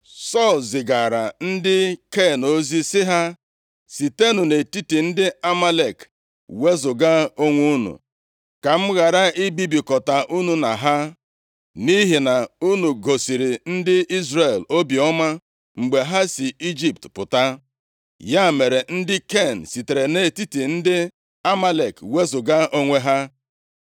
Sọl zigaara ndị Ken ozi sị ha, “Sitenụ nʼetiti ndị Amalek wezuga onwe unu ka m ghara ibibikọta unu na ha. Nʼihi na unu gosiri ndị Izrel obiọma mgbe ha si nʼIjipt pụta.” Ya mere, ndị Ken sitere nʼetiti ndị Amalek wezuga onwe ha.